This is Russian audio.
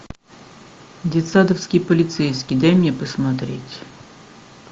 детсадовский полицейский дай мне посмотреть